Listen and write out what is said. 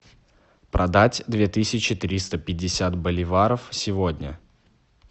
продать две тысячи триста пятьдесят боливаров сегодня